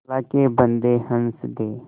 अल्लाह के बन्दे हंस दे